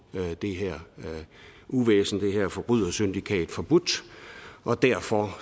det her uvæsen det her forbrydersyndikat forbudt og derfor